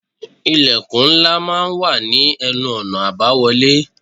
Ilẹ̀kùn ńlá máa ń wà ní ẹnu-ọ̀nà àbáwọlé.